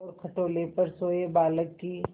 और खटोले पर सोए बालक की